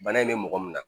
Bana in bɛ mɔgɔ min na